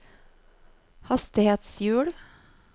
hastighetshjul